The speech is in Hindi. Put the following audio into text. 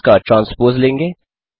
फिर उसका ट्रांस्पोज़ लेंगे